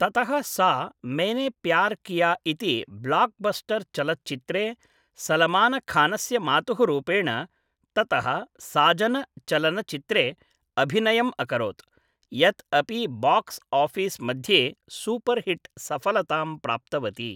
ततः सा मैने प्यार् किया इति ब्लाक्बस्टर् चलच्चित्रे सलमानखानस्य मातुः रूपेण, ततः साजन चलच्चित्रे अभिनयम् अकरोत्, यत् अपि बाक्स् आफिस् मध्ये सूपर्हिट् सफलतां प्राप्तवती ।